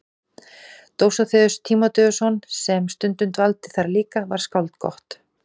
Dósóþeus Tímóteusson sem stundum dvaldi þar líka var skáld gott.